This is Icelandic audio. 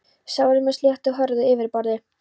Sárið er með sléttu og hörðu yfirborði.